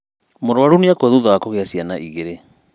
Mũrũaru nĩakũa thutha wa kũgĩa ciana igĩrĩ